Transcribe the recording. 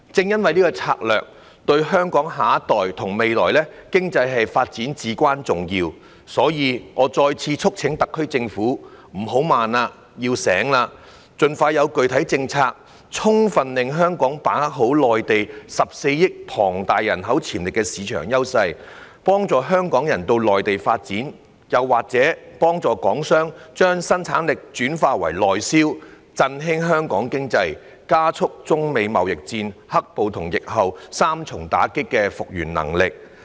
由於這項策略對香港下一代和未來經濟發展至關重要，所以我再次促請特區政府"不要怠慢，要醒來了"，盡快提出具體政策，令香港充分把握內地14億龐大人口潛力市場的優勢，幫助港人到內地發展，或幫助港商將生產力轉化為內銷，振興香港經濟，加速本港經濟在中美貿易戰、"黑暴"及疫情三重打擊後的復原能力。